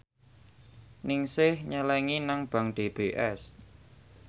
Ningsih nyelengi nang bank DBS